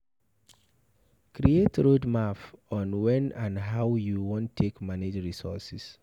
Create roadmap on when and how you wan take manage resources